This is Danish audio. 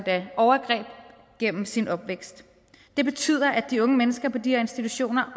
overgreb gennem sin opvækst det betyder at de unge mennesker på de her institutioner